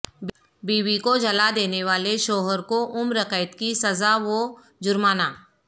بیوی کو جلادینے والے شوہر کو عمر قید کی سزاء و جرمانہ